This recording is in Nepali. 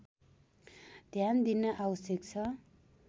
ध्यान दिन आवश्यक छ